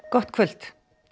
gott kvöld